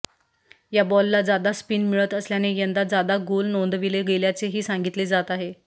या बॉलला जादा स्पिन मिळत असल्याने यंदा जादा गोल नोंदविले गेल्याचेही सांगितले जात आहे